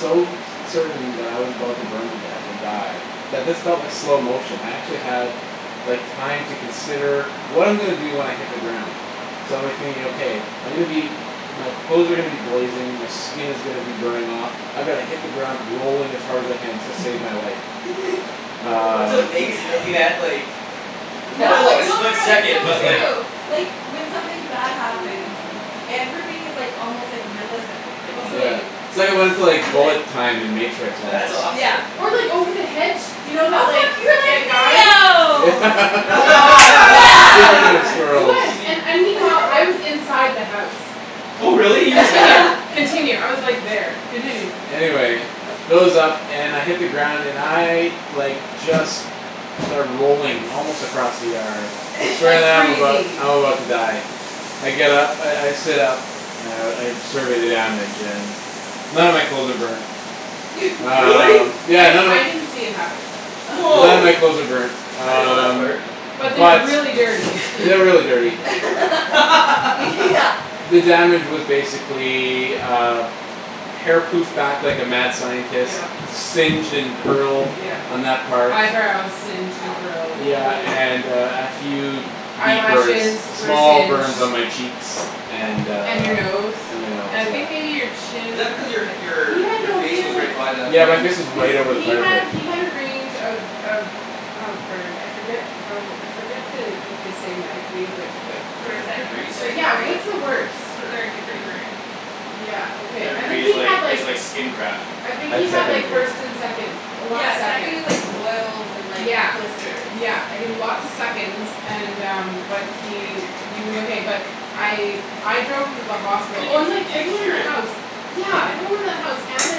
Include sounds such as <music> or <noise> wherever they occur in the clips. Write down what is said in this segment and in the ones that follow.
so certain that I was about to burn to death and die that this felt like slow motion. I actually had like time to consider what I'm gonna do when I hit the ground. So I'm like thinking okay, I'm gonna be, my clothes are gonna be blazing, my skin is gonna be burning off, I gotta hit the ground rolling as hard as I can just to save my life. <laughs> That's Um amazing that you had like, <laughs> <noise> it probably was No, like no a no split no it's second, so but true. <noise> Like like when something bad happens y- <noise> everything is like almost like milliseconds, like you Also Yeah. can It's like I wanted to like feel it. bullet time in matrix That's almost. Yeah. awesome. Or like over the hedge, you know that like, Oh that guy. fuck, you Yeah. were <laughs> like Neo! Speaking of Yes. <laughs> Yes! It squirrels. was and and meanwhile, I was <laughs> inside the house. Oh really, you were Continue. there? <laughs> Continue. I was like there. Continue. Anyway it goes up and I hit the ground and I like just start rolling, almost across the yard. <inaudible> Like <laughs> I'm about crazy. I'm about to die. I get up, I I sit up and I survey the damage and none of my clothes are burned. <laughs> Really? Um yeah I none of I didn't see it happen. None of Wow, my clothes are burned. I didn't know that Um part. But but they're they're really dirty. <laughs> really dirty. <laughs> Yeah. <laughs> The damage was basically, uh, hair poofed back like a mad scientist, Yep. Yep. singed and curled Yep. on that part. Eyebrows singed and curled. Yeah and uh and a <noise> few deep burns, Eyelashes were small singed. burns on my cheeks. And uh And your nose. And my nose And I yeah. think maybe your Is chin. that because your He your had your no he face had was like, right by the Yeah my flame? face was he's right over the he fire had pit. he had a range of of of burns, I forget how, I forget the what they say medically but Like First, different second or degrees? third yeah, degree? what's the worst? Third. Third Third degree degree. burn. Yeah okay, Third I degree think is he had like, is like skin graft <inaudible> I I think had he Yeah. had second like degree. first and seconds, a lot of Yeah second is seconds. like boils and like Yeah, blisters. yeah I he had think. lots of seconds and um but he he was okay but I I drove him to the hospital, Did oh you and like did you everyone in hear the house, it? yeah everyone in the house and the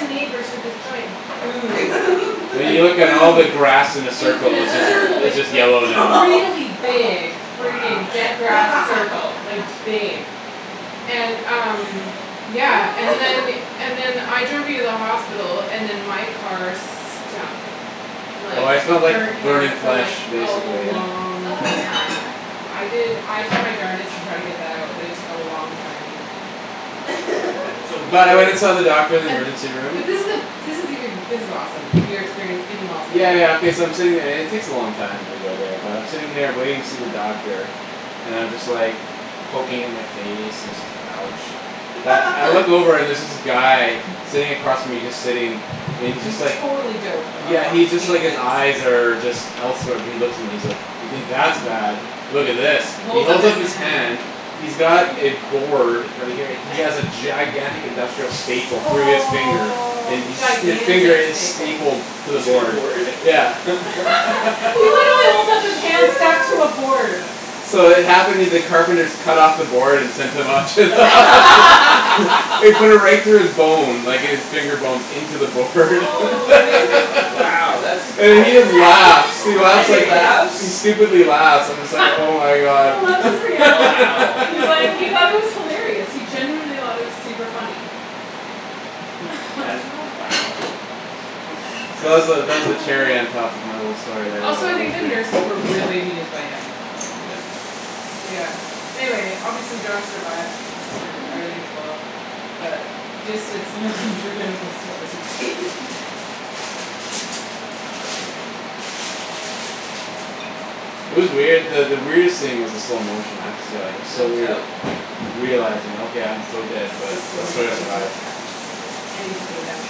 neighbors heard this giant boom. And Like you <laughs> look at all boom! the And grass in a it was in circle, <laughs> it's a just circle, it's like <noise> just like yellow now. Oh really fuck. big Wow. freaking dead grass circle, like big. <laughs> And um <noise> yeah, and then <laughs> and then I drove you to the hospital, and then my car stunk Oh like I <inaudible> smelled like burnt burning hair for flash like a basically yeah. long Oh yeah. time. I did I tried my darnedest to try to get that out but it took a long time. <noise> So <laughs> were you But I went and <inaudible> saw the doctor in the And, emergency room. but this is the this is even, this is awesome, your experience in the hospital. Yeah yeah okay so I'm sitting there and it takes a long time when you go there but I'm sitting there waiting to see the doctor and I'm just like, poking at my face and so it's like ouch. But I look <noise> <laughs> over and there's this guy, sitting <laughs> across from me, and he's just sitting, and he's just He's like totally doped up Yeah on he's just like, pain his meds. eyes are just elsewhere but he looks at me and he's like, "You think that's bad, look at this." He He holds up holds his up his hand. hand, he's got a Susie. board, right here, he has a <noise> gigantic industrial staple through his finger Oh. and his finger Gigantic is staple. stapled to the To the board. board? <laughs> Yeah. <laughs> <laughs> He literally holds up his Holy hand stacked to a shoot. board. So it <inaudible> the carpenters cut off the board and sent him to the hos- <laughs> <laughs> They put it <laughs> right through his bone, like his finger bones, in to the board <laughs> <noise> How Wow that's, And he does just laughs. He that and laughs he like, even happen? he laughs? stupidly laughs, and I'm just <laughs> like oh my god. I loved his <laughs> reaction. Wow. He's like, he God. thought it was hilarious. He genuinely <inaudible> it was super funny. That is <laughs> wow. Gosh. That's So that was the, impressive. that was the cherry on <noise> top of my little story there Also I think the <inaudible> nurses were really amused by him. Yeah. Yeah. Anyway, obviously Josh survived and everything's well. But just it's an unforgettable story. <laughs> Yeah. Wow, that's interesting. It was weird that the weirdest thing was the slow motion, I have to say like it was No so weird doubt. realizing okay, I'm so dead This but is let's going try to way too survive. fast. I need to put it down.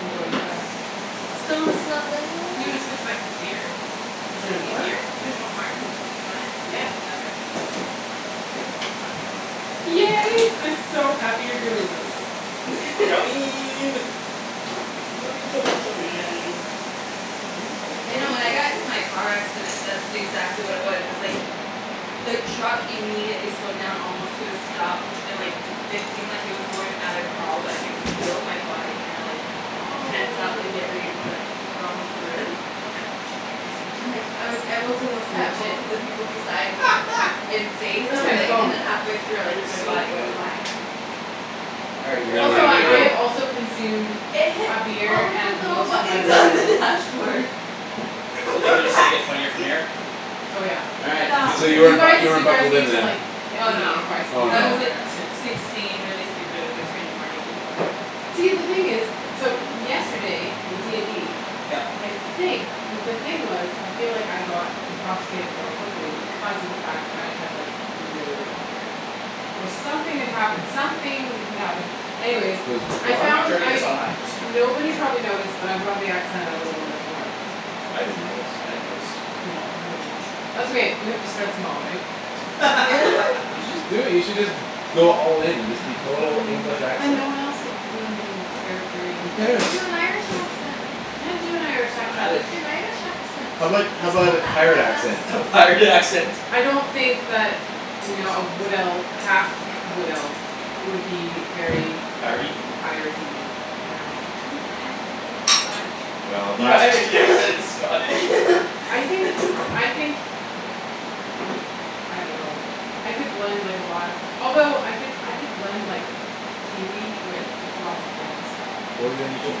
I'm going too fast. It's gonna slow down. You wanna switch back to beer? Is Is there it more? easier? There's one more. You want it? Yeah. Okay. Yay, I'm so happy you're doing this. Chow! <laughs> Chow chow chow <inaudible> mein. Chow mein You chow know mein when chow I got in to mein chow my car <inaudible> accident mein <inaudible> that's exactly what it was. It was like, the truck immediately slowed down almost to a stop and like it seemed like it was going at a crawl but I could feel my body kinda like Oh. tense up and get ready to be like, thrown through. Oh you're using And like I was able to <inaudible> look at that's legit. both of the people beside me <laughs> and say Where's my something and phone? then halfway through I like, You're my so body went funny. flying. All right Do you Kara, know Also where I'm did it I go? have gonna also consumed It hit a beer all of the and little most of my buttons on bourbon. the dashboard. So From the things are just gonna get funnier from backseat. here? Oh yeah. All right, sounds good So to you You <inaudible> weren't me. bu- guys, you weren't you guys buckled in need to then. like hit Oh me no. if I speak Oh in I no. was like another accent. sixteen really stupid, it was like three in the morning. See the thing is, so yesterday with D and D, Yep. I think the thing was, I feel like I got intoxicated more quickly because of the fact that I had like no water. Or something had happened, something had happened. Anyways, I I'm found <inaudible> turning I this on high, just so you know. nobody probably Okay. noticed but I brought the accent out a little bit more. I didn't notice. I didn't notice. No, nobody noticed. That's okay, we have to start small right? <laughs> You should <laughs> just do it, you should just go all in and just be Aw total fine, English but then accent. no one else will do anything charactery. Who Aw, cares? do an Irish accent. I can't do an Irish accent. Do Irish. an Irish accent. How about how It's about not a that pirate hard accent? lass. A pirate accent! I don't think that no a wood elf, a half wood elf would be very Piratey? piratey, no. I think my Irish accent is Scottish. Well, Your <laughs> that Irish accent is Scottish? I think, <laughs> I think, <noise> I don't know I could blend like a lot of, although I could I could blend like Kiwi with lots of things. Well then you should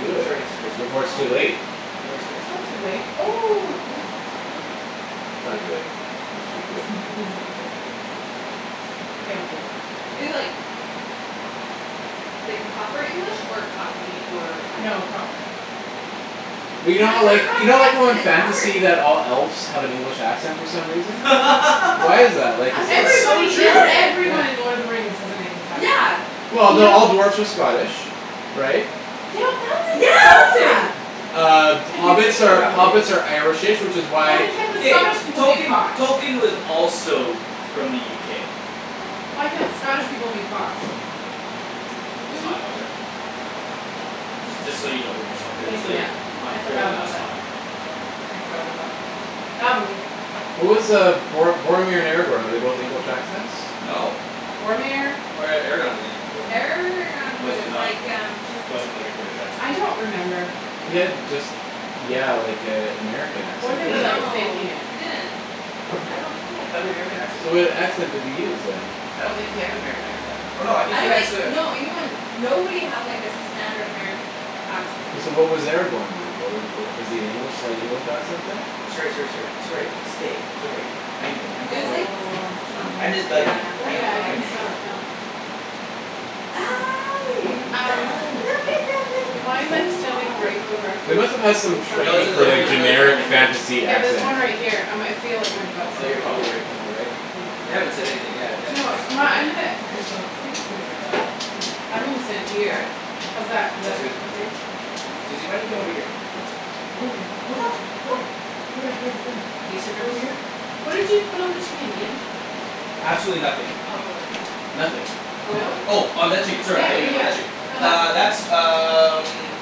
do it sorry sorry before it's Oh. too sorry. late. Sorry sorry It's sorry. not too late. Oh, it might be too late. It's not Okay. too late. You should All just do it. right <laughs> he's like it's okay, it's not too late. Okay I'll do it. Is it like like proper English or Cockney or what kind? No, proper. Yeah. Well you know how Can't do a like, you know Cockney like how accent, in it's fantasy hard! that all elves have an English accent for some reason? Why is <laughs> that, like <inaudible> is it It's so Everybody in true! Yeah. Yeah. everyone in Lord of the Rings has an English accent. Yeah. Well You no, know all dwarves are Scottish. Right? Yeah that's insulting! Yeah! Uh If you hobbits think are about it. hobbits are irish-ish which is why Why can't the K. Scottish people be Tolkien, posh? Tolkien was also f- from the UK. Why can't the Scottish people be posh? It's hot, <noise> watch out. Just just so you don't burn yourself because it's Thank like you. Yeah. on I full forgot about blast that. hot. I forgot about that. Um. What was uh Bor- Boromir and Aragorn, were they both English accents? No. Boromir? Or Aragorn wasn't he wasn't Aragorn was was it like um just not, wasn't like a British accent. I don't remember. He had just yeah like a American Or accent they were basically. like Mhm. No faking it. he didn't. I don't think he <inaudible> had an American American <inaudible> accent. So what accent did he use then? I don't think he had an American accent, I th- oh no I think I he don't had think, to no anyone nobody had like a standard American accent. So what was Aragorn then wha- was <inaudible> is he an English, slight English accent then? Sorry sorry sorry. Sorry, stay, sorry. I know, I'm It just was like bugging you. Aw someth- I'm Susie. just bugging yeah, you, Oh I I don't know yeah know. I I I can can't smell really it know. now. <noise> Hi! <noise> Um, look Hi. at am that I like big standing right smile. They directly must've had some in front of No it's training this in the, for like there's camera? another generic camera here. fantasy Yeah there's accent. one right here I might feel like my butt's Oh in you're front of probably it. right in the way? Yeah. They haven't said anything yet, they Do you haven't know what, texted um me my I'm gonna, yet. they're like, please move your butt. I'm gonna stand All here. right. How's that, is that That's good. uh okay? Susie why don't you come over here? Come here, come Go! over here, come Go! here, come here, come here, come here. Can you sit right over here? What did you put on the chicken Ian? Absolutely nothing. Olive oil. Nothing. Olive Oil? oil. Oh on that chicken sorry I Yeah thought you yeah meant yeah. about that chick- No Uh that that's um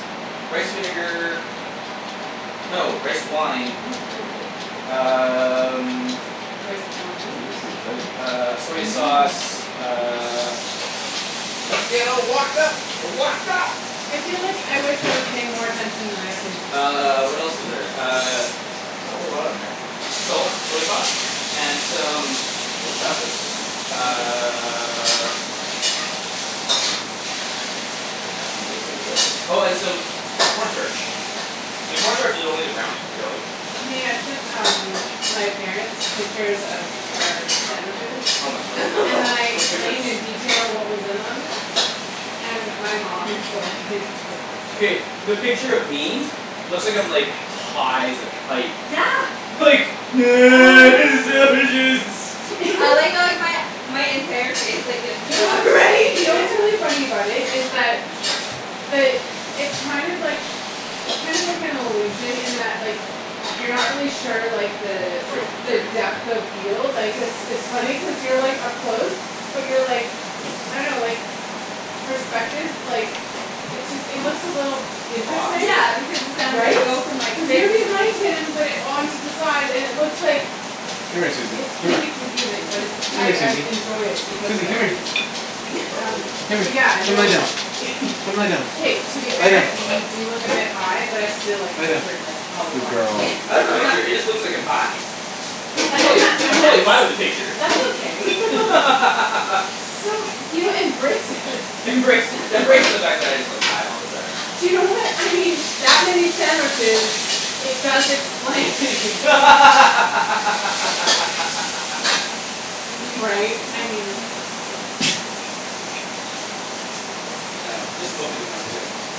<noise> rice vinegar. No, rice wine, ooh we're ready to go. Um. Rice wine? <inaudible> Uh I soy know. sauce, uh. Let's get all wokd up! Wokd up! I feel like I wish I was paying more attention than I have been. Uh, what else is there, uh, not a whole lot on there. Salt, soy sauce, and some <inaudible> how fast it's cooking <inaudible> uh <inaudible> Oh and some corn starch. And corn starch is only to brown it, really. Hey I sent um my parents pictures of our sandwiches, Oh my word. and then <laughs> I Those explained in pictures. detail what was in them. And my mom was like <laughs> <inaudible> K, the picture of me, looks like I'm like high as a kite. Yeah. Like, <noise> <noise> sandwiches. I <laughs> like how like my my entire face like gets You cut know off <laughs> what's funny, right. you know what's really funny about it is that, the it's kind of like, it's kind of like an illusion in that like you're not really sure like the Oops sorry the <inaudible> depth of field like cuz it's it's funny cuz you're like up close. But you're like, I don't know like, perspective like, it just it looks a little Off. interesting, Yeah because the sound of right? it <inaudible> Cuz you're behind him but on to the side and it looks like, Come here Susie, it's come here really confusing but it's Come I here I Susie. enjoy it because of Susie that come here. reason. Um, <laughs> Come here. but yeah, Come lie no, down. Come lie down. <laughs> k to be Lie fair down. you do look a bit high but I still like the Lie down. picture like a Good lot. girl. <inaudible> <laughs> It just looks like I'm high. <inaudible> I'm and totally I'm totally fine with the that's, picture. that's okay. <laughs> So, you know embrace it <laughs> Embrace, embrace <laughs> the fact that I just look high all the time. You know what, I mean that many sandwiches, it does explain <laughs> <laughs> Right, I <noise> mean. it's funny. <inaudible> <inaudible>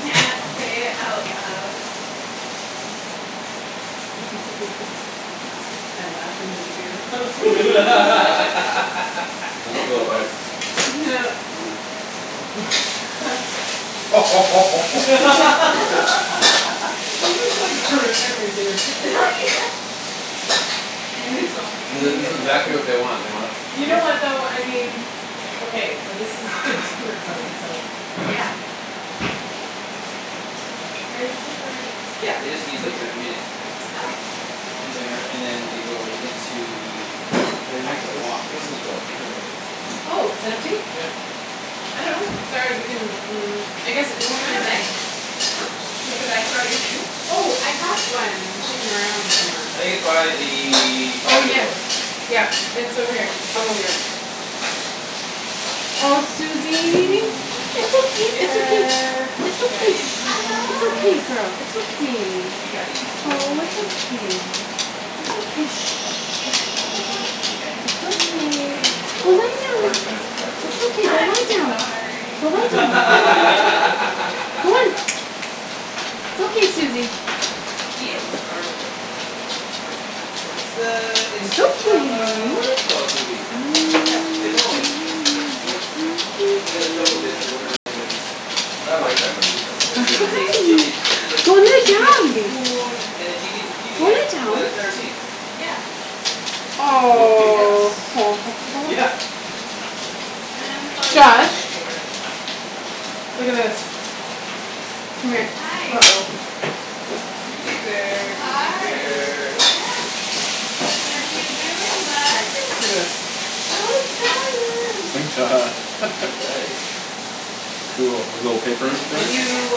Yeah. Say it out loud. <laughs> I laughed in to the beer bottle <laughs> <laughs> <inaudible> go ahead. <laughs> <noise> <laughs> <laughs> <laughs> <laughs> <laughs> This <laughs> is like <laughs> horrific material. <laughs> Yeah. And it's only This gonna is this get is better. exactly what they want, they want You know <inaudible> what though, I mean, okay but this is a <laughs> dinner party so. Yeah. Are you sure they're ready? Yeah they just need like a minute. Oh. In there, and then they go into the Kara you wanna put actual this, wok and where's this steam go, out. <inaudible> Oh, is it empty? Yeah. I dunno. <inaudible> Mm, I guess it Do you won't. <inaudible> wanna bag? Huh? Like a bag for all your things? Oh, I have one kicking around somewhere. I think it's by the Oh, patio yes. door. Yeah, it's over here. I'll go get it. Aw Suzy, it's okay, it's okay. <noise> Chicken! It's Chicken okay, is shh, it's okay good girl, it's okay. Chicken is Aw, it's good. okay. It's okay, shh. Mm, chicken is good. Chicken is It's good. okay. Chicken is Go lie good. down. Poor transcribers. It's <laughs> okay. Go lie I'm down. sorry! Go lie down. Go on. <laughs> <laughs> <laughs> It's okay, Suzy. Ian started it. It's the, it's, It's it's from okay. uh, <noise> whatever you call it movie. What? Fifth Element. Mila, Mina Johovich or whatever her name is. When she I like finds, that movie. <noise> when That's <inaudible> she movie. tastes chicken she's like, Go lie "Chicken down is babe. good" and then she keeps repeating Go it lie for down. the entire scene. Yeah. Multipass. Aw. <inaudible> <noise> Yeah! Man, this always been one Josh? of my favorites. Look at this. Come here. Hi. uh-oh. Suzy bear, Suzy Hi! bear. What are you doing, bud? Look at this. So excited. <inaudible> All <laughs> right. Cool. The little paper Can thing? you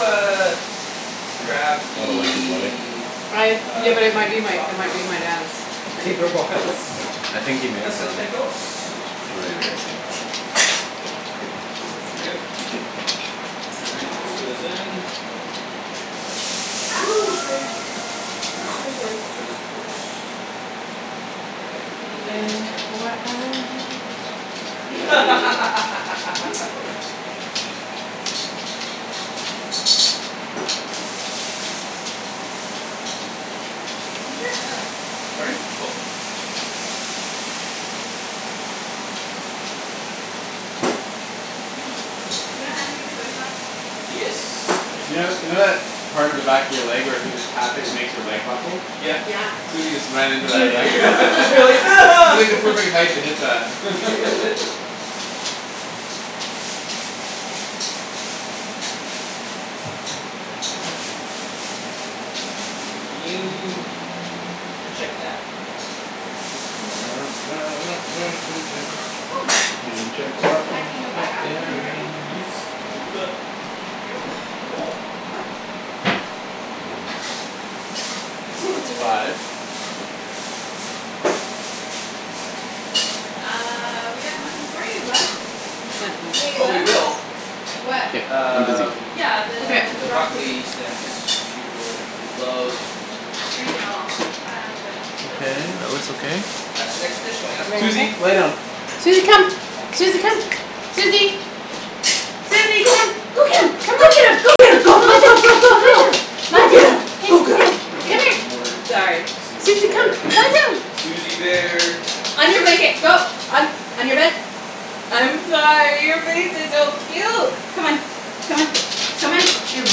uh, grab What a lucky boy. the I, yeah, uh, but it might chicken be my, stock it might for be me my dad's oh from the paper fridge bots. please? Yeah. I think he made it Please and though. thank yous. It's But at the maybe very we'll very see. bottom. Thank you. Awesome All right, let's throw this in. Actually no. Ooh, sorry! Ooh Ah! sorry sorry, let's throw this in first. Let that go Maybe I, I away F won't y <inaudible> i scream. <laughs> <laughs> Ginger or garlic? Pardon me? <noise> Both. Mm, you don't have any of the soy sauce? Yes, I You keep know, in you know there. that part of the back of your leg where if you just tap it, it makes your leg buckle? Yeah. Yeah. Suzy just ran <laughs> You're into like that back <laughs> <inaudible> <laughs> <inaudible> to hit that <laughs> <laughs> Can you check that? <noise> Can you <noise> check the That can go back up when you're ready. Yes, I can do that. <inaudible> Thank you. <inaudible> Now that's five. Suzy! Uh, we have nothing for you, bud. Accept You this wanna eat a just Oh in we bug? case will. What? Can't, I'm busy. Um Yeah, Okay. the The broccoli broccoli stems, she will love I know. Um, but till Okay, then that looks okay? That's the next dish going up. Everything okay? Suzy lay down. Suzy come. Suzy come. Suzy! Suzy Go! come. Go get 'em! Come on. Go get 'em! Go get 'em, Come, go come go lie go down. go go Come lie go! down. Go Lie get down. 'em, Hey, go get here. 'em! <laughs> Oh Come here. my word. Sorry. Suzy Suzy come. bear. Lie down. Suzy bear! On your blanket, go. On, on your bed. I'm sorry, your face is so cute! Come on, come on, come on. It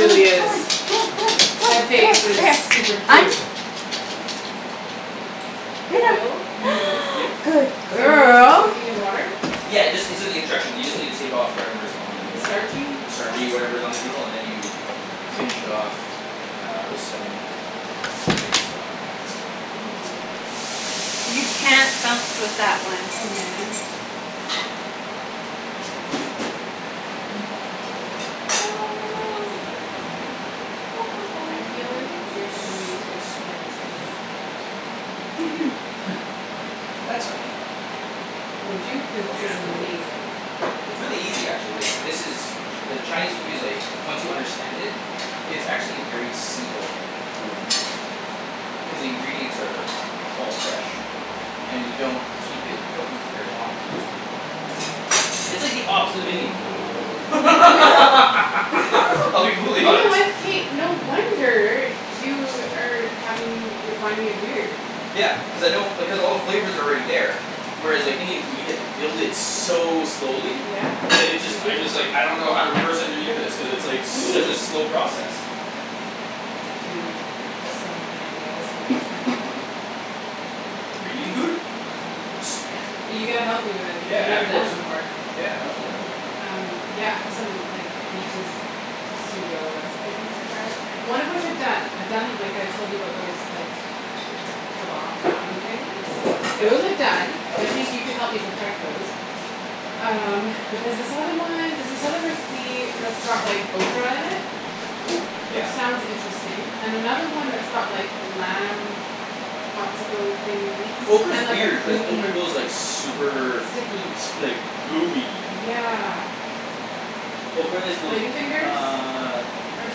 Come on, come on, come is. on, come on, come on, come on. Right That here, face is right here. super I'm cute. Lay Oil, down. noodles. <noise> Yep. Good So noodles were girl! soaking in water? Yeah, it just, it's in the instruction. You just need to take of whatever is on the The noodle. starchy The stuff? starchy whatever is on the noodle, and then you finish it off uh, with some chicken stock. Ooh. You can't bounce with that one. Oh man. All right, ta ta ta ta, and then I'll put the green onions in there right now. I feel like <noise> you're Some gonna need to soy explain this to me sauce. another <laughs> time. <laughs> <noise> That's fine. Would you? Cuz Oh this is yeah, totally. amazing. It's really easy actually. This is, ch- the Chinese food is like, once you understand it, it's actually a very simple food to make. Cuz the ingredients are all fresh and you don't keep it cooking for very long for the most part. It's like the opposite of Indian food. <laughs> I'll be <laughs> You brutally know honest. what? K no wonder you are having, you're finding it weird. Yeah. Cuz I don't, because all the flavor's already there. Whereas like Indian food, you have to build it so slowly Yeah, that it you just, I do. just like, I don't know how to reverse engineer this cuz it's such a slow <laughs> process. Dude, I've so many ideas for next time. For Indian Mhm, food? mhm. Sweet. Yes. But you gotta help me with it because I've Yeah, never of done it course. before. Yeah I'll totally help you. Um yeah, I have some like, the just pseudo recipes to try out. One of which I've done. I've done like I told you about those, like, kebab naan things. Those are Yeah. done. I think you can help me perfect those. Um, but there's this other one, there's this other recipe that's got like ocra in it Oh! Which Yeah. sounds interesting. And another one that's got like lamb popsicle things Ocra is and like a weird, cuz creamy ocra goes like super Sticky S- like gooey. Yeah. What's ocra? Ocra is those, Lady fingers? uh Heard of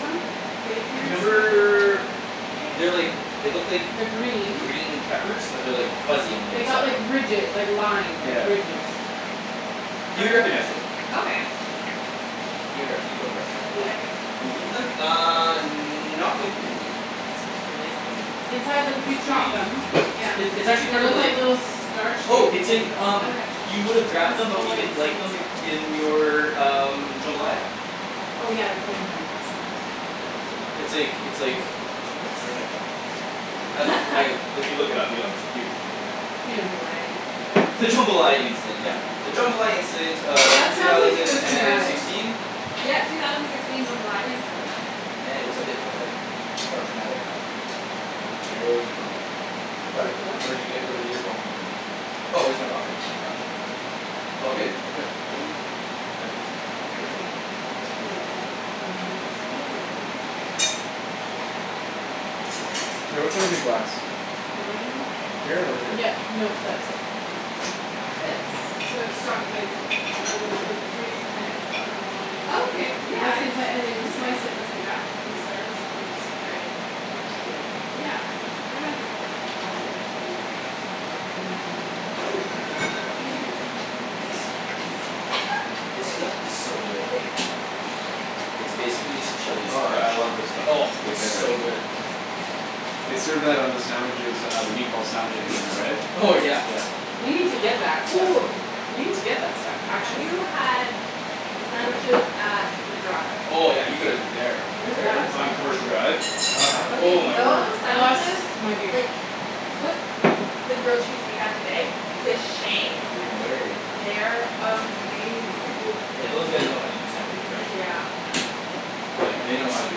them? Lady fingers <inaudible> Remember they're like, they like look like They're green. green peppers but they're like fuzzy on the They got outside. like ridge- like line, Yeah. ridges. You'd recognize <noise> them. Okay. You'd rec- you'd totally recognize them. Have Yeah. I eaten Eaten them? them? <inaudible> Uh, not with me cuz I don't really like them. Inside, like if you <noise> chop <inaudible> them Yeah. It's, it's actually They look like little <inaudible> star Oh, shaped it's things in um Okay. You With would've grabbed them but little you white didn't like seed sort them of i- in your um, jambalaya. Oh yeah, they put 'em in jambalaya sometimes. It's like, it's like, where's my phone? Um like, <laughs> if you look it up you'll unders- you, yeah The Hmm. jambalaya incident. The jambalaya incident, yeah. The jambalaya incident <inaudible> of That two sounds like it was thousand and traumatic. sixteen? Yeah, two thousand sixteen jambalaya incident. Yeah it was a bit dramatic. Or traumatic. Ocra. Hey where was your phone? What? What? Where did you get, where did your phone come from? Oh, just my pocket. Oh. It's all good? Yeah. Cool. Apparently. Yeah. Okay, here you go Ped. Um, it's loading. K, which one's your glass? Mine? Here or here? Yeah, no that's it. Now This. I So need it's got some like the l- the ridge kinda, it's got like lines sort of. Okay, And yeah that's the I've seen inside, and when you slice it it it. looks like that. Little stars. Oops. All right. You, you get it. Yeah. I dunno if I've ever had it though. Mmm, that looks <inaudible> good. and this stuff. <noise> Ooh, <inaudible> This stuff is so good. excuse me. It's basically just chili Oh, I scratch. love this stuff. Oh, It's my it's favorite. so good. They served that on the sandwiches uh, the meatball sandwich at Meat and Bread. Oh yeah. Yeah. We need to get that <noise> stuff. Ooh. We need to get that stuff. Have Actually. you had the sandwiches at the Grotta? Oh yeah, you gotta go there. Where's Where that? is on that? Commercial Drive. <inaudible> Oh Okay my word. those I lost sandwiches my beer. like, put the grill cheese we had today to shame. No way. They're amazing. Yeah <noise> those guys know how to do <inaudible> sandwiches right. Yeah. Like, they know how to do